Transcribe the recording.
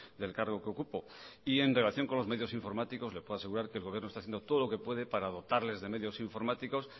del cargo que ocupo y en relación con los medios informáticos le puedo asegurar que el gobierno está haciendo todo lo que puede para dotarles de medio informáticos